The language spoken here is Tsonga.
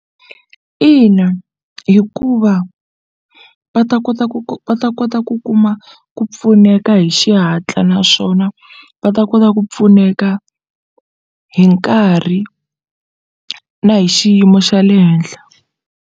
Ina, hikuva va ta kota va ta kota ku kuma ku pfuneka hi xihatla naswona va ta kota ku pfuneka hi nkarhi na hi xiyimo xa le henhla.